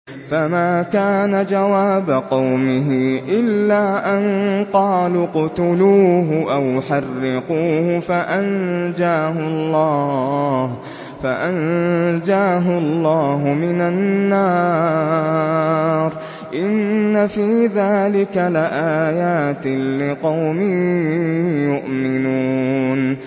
فَمَا كَانَ جَوَابَ قَوْمِهِ إِلَّا أَن قَالُوا اقْتُلُوهُ أَوْ حَرِّقُوهُ فَأَنجَاهُ اللَّهُ مِنَ النَّارِ ۚ إِنَّ فِي ذَٰلِكَ لَآيَاتٍ لِّقَوْمٍ يُؤْمِنُونَ